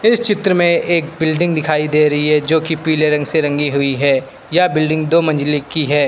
इस चित्र में एक बिल्डिंग दिखाई दे रही है जो की पीले रंग से रंगी हुई है यह बिल्डिंग दो मंजिले की है।